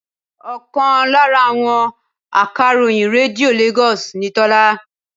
Ọkàn lára àwọn akàròyìn Rédíò Lagos ni Tola